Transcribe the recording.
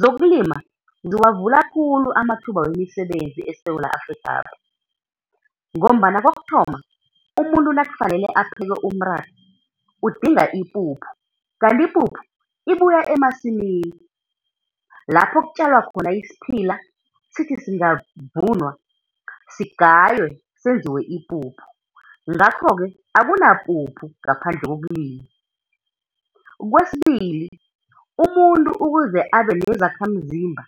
Zokulima ziwavula khulu amathuba wemisebenzi eSewula Afrikhapha, ngombana kokuthoma umuntu nakufanele apheke umratha udinga ipuphu, kanti ipuphu ibuya emasimini, lapho kutjalwa khona isiphila, sithi singavunwa sigaywe senziwe ipuphu. Ngakho-ke, akunapuphu ngaphandle kokulima. Kwesibili, umuntu ukuze abe nezakhamzimba,